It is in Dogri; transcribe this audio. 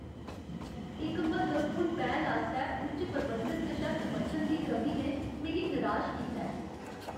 इक म्हत्तवपूर्ण पैह्ल आस्तै उच्च प्रबंधन कशा समर्थन दी कमी ने मिगी निराश कीता ऐ।